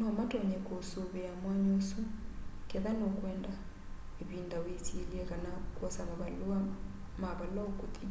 no matonye kũũsũvĩa mwanya ũsũ ketha nũkwenda ĩvĩnda wĩsyĩle kana kwosa mavalũa mavala ũkũthĩ.